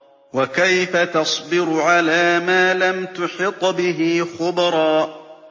وَكَيْفَ تَصْبِرُ عَلَىٰ مَا لَمْ تُحِطْ بِهِ خُبْرًا